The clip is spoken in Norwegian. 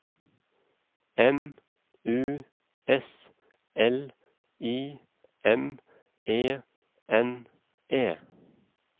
M U S L I M E N E